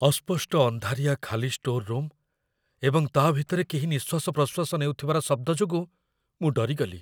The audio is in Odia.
ଅସ୍ପଷ୍ଟ ଅନ୍ଧାରିଆ ଖାଲି ଷ୍ଟୋର୍‌ ରୁମ୍‌ ଏବଂ ତା' ଭିତରେ କେହି ନିଃଶ୍ୱାସ ପ୍ରଶ୍ୱାସ ନେଉଥିବାର ଶବ୍ଦ ଯୋଗୁଁ ମୁଁ ଡରିଗଲି